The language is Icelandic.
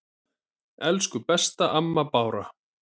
Elsku besta amma Bára.